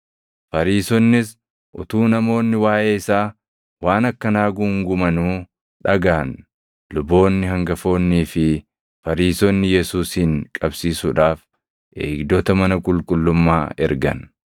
Fariisonnis utuu namoonni waaʼee isaa waan akkanaa guungumanuu dhagaʼan. Luboonni hangafoonnii fi Fariisonni Yesuusin qabsiisuudhaaf eegdota mana qulqullummaa ergan.